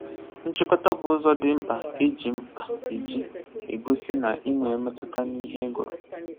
Nchịkọta bụ ụzọ dị mkpa eji mkpa eji egosi na ị nwere mmetụta n'ihe ị gụrụ